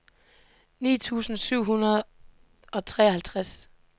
ni tusind syv hundrede og treoghalvtreds